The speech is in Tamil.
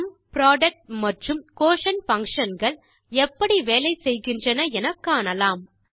சும் புரொடக்ட் மற்றும் குயோட்டியன்ட் பங்ஷன்ஸ் எப்படி வேலை செய்கின்றன என காணலாம்